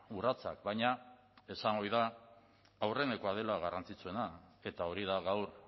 urratsak baina esan ohi da aurrenekoa dela garrantzitsuena eta hori da gaur